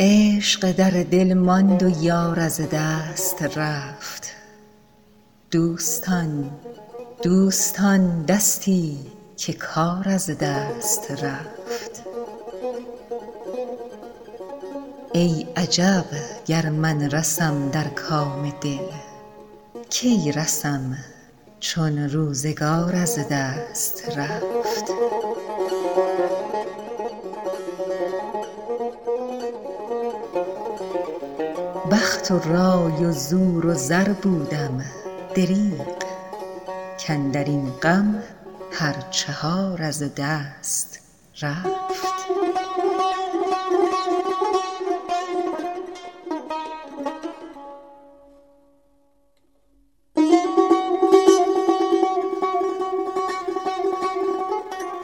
عشق در دل ماند و یار از دست رفت دوستان دستی که کار از دست رفت ای عجب گر من رسم در کام دل کی رسم چون روزگار از دست رفت بخت و رای و زور و زر بودم دریغ کاندر این غم هر چهار از دست رفت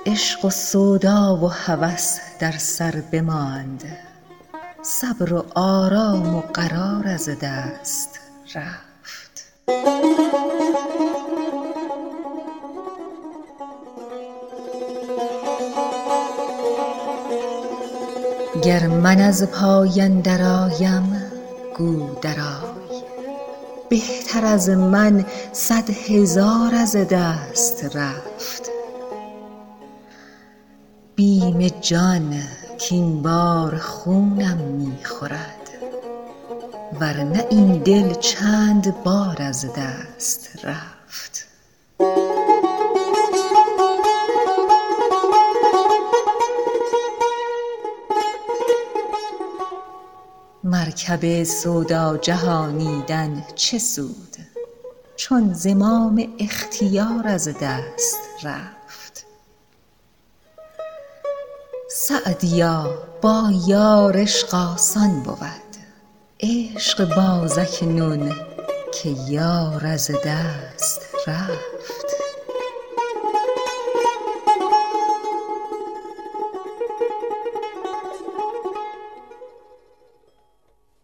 عشق و سودا و هوس در سر بماند صبر و آرام و قرار از دست رفت گر من از پای اندرآیم گو درآی بهتر از من صد هزار از دست رفت بیم جان کاین بار خونم می خورد ور نه این دل چند بار از دست رفت مرکب سودا جهانیدن چه سود چون زمام اختیار از دست رفت سعدیا با یار عشق آسان بود عشق باز اکنون که یار از دست رفت